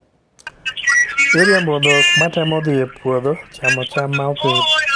Iriembo dhok matemo dhi e puodho chamo cham ma opidhi